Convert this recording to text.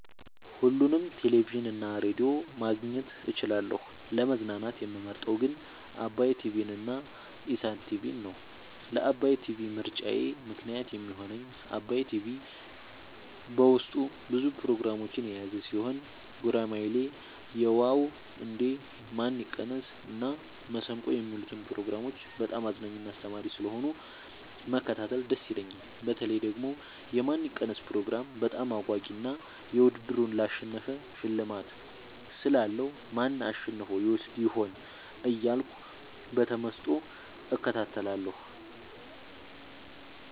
ሁሉንም ቴሌቪዥን እና ሬዲዮ ማግኘት እችላለሁ: : ለመዝናናት የምመርጠዉ ግን ዓባይ ቲቪንና ኢሣት ቲቪን ነዉ። ለዓባይ ቲቪ ምርጫየ ምክንያት የሚሆነኝ ዓባይ ቲቪ በዉስጡ ብዙ ፕሮግራሞችን የያዘ ቲሆን ጉራማይሌ የዋ ዉ እንዴ ማን ይቀነስ እና መሠንቆ የሚሉትን ፕሮግራሞች በጣም አዝናኝና አስተማሪ ስለሆኑ መከታተል ደስ ይለኛል። በተለይ ደግሞ የማን ይቀነስ ፕሮግራም በጣም አጓጊ እና ዉድድሩን ላሸነፈ ሽልማት ስላለዉ ማን አሸንፎ ይወስድ ይሆን እያልኩ በተመስጦ እከታተላለሁ።